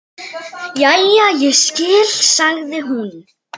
Jæja, ég skil, sagði hún.